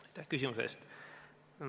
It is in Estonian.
Aitäh küsimuse eest!